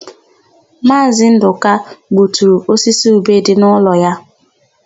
Maazị Ndụka gbuturu osisi ube dị n'ụlọ ya.